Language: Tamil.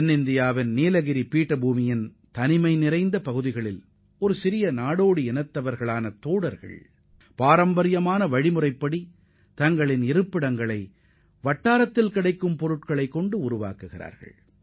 தென்னிந்தியாவின் நீலகிரி மலைத் தொடரில் உள்ள சில தனிமைப் பகுதிகளில் வசிக்கும் தோடர் இன மக்கள் அப்பகுதியில் கிடைக்கும் பொருட்களை மட்டும் கொண்டுதான் தங்களது குடியிருப்புகளை அமைத்துக் கொள்கின்றனர்